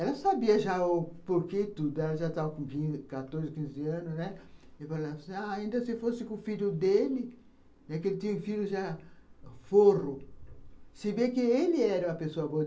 Ela sabia já o porquê de tudo, ela já estava com quatorze, quinze anos, né, e falou assim, ainda se fosse com o filho dele, que ele tinha um filho já, forro, se bem que ele era uma pessoa boa.